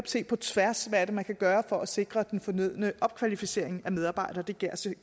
se på tværs hvad det er man kan gøre for at sikre den fornødne opkvalificering af medarbejdere det det